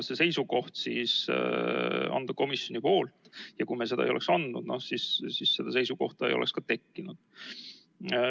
Kui me seda seisukohta ei oleks andnud, siis seda seisukohta ei oleks ka tekkinud.